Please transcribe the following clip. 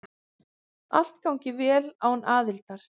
Allt gangi vel án aðildar.